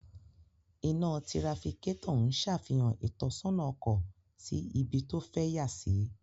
Ina tirafikatọ ǹṣafihan itọsọna ọkọ si ibi to fẹ yasi